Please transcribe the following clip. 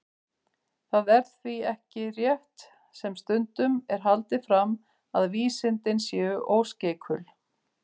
Það er því ekki rétt, sem stundum er haldið fram, að vísindin séu óskeikul.